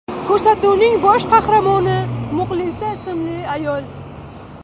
Ko‘rsatuvning bosh qahramoni Muxlisa ismli ayol.